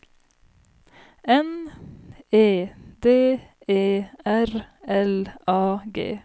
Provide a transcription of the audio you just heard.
N E D E R L A G